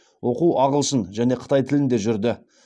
оқу ағылшын және қытай тілінде жүрді